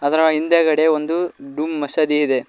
ಅದರ ಹಿಂದೆಗಡೆ ಒಂದು ಡುಂ ಮಸದಿ ಇದೆ.